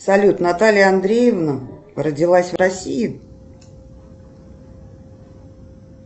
салют наталья андреевна родилась в россии